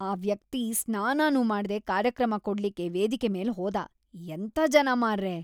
ಆ ವ್ಯಕ್ತಿ ಸ್ನಾನನೂ ಮಾಡ್ದೆ ಕಾರ್ಯಕ್ರಮ ಕೊಡ್ಲಿಕ್ಕೆ ವೇದಿಕೆ ಮೇಲೆ ಹೋದ. ಎಂಥ ಜನ ಮಾರ್ರೆ!